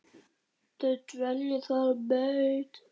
Þau dvelja þar á beit.